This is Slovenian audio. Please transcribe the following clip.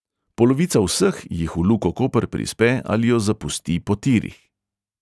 Polovica vseh jih v luko koper prispe ali jo zapusti po tirih.